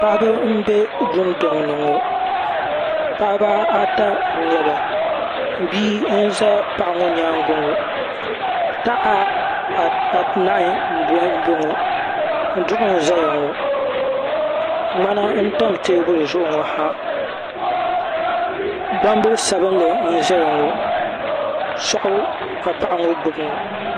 Paɣiba m-be dundɔŋ ni ŋɔ paɣiba ata n-nyɛ ba bia n-za paɣa ŋɔ nyaaŋa ŋɔ taha anahi m-bɔŋɔ duɣu n-zaya ŋɔ ŋmana n-tam teebuli zuɣu ŋɔ ha gbambili sabinli n-zaya ŋɔ sɔɣu ka paɣa ŋɔ gbubi ŋɔ.